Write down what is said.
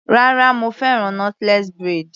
Rárá mo fẹ́ràn knotless braid.